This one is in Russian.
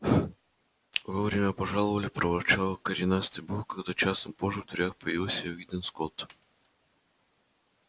вовремя пожаловали проворчал коренастый бог когда часом позже в дверях появился уидон скотт